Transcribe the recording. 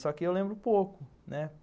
Só que eu lembro pouco, né